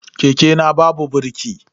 Keke na babu birki.